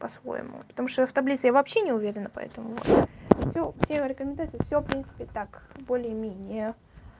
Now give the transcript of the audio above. по-своему потому что я в таблице я вообще не уверена поэтому всё все рекомендации всё в принципе так более-менее